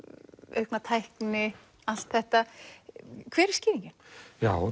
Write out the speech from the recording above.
aukna tækni allt þetta hver er skýringin já